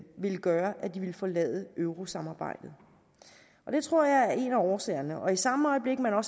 ville gøre at de ville forlade eurosamarbejdet og det tror jeg er en af årsagerne og i samme øjeblik man har